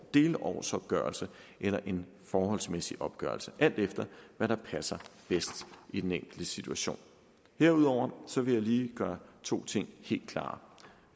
delårsopgørelse eller en forholdsmæssig opgørelse alt efter hvad der passer bedst i den enkelte situation herudover vil jeg lige gøre to ting helt klar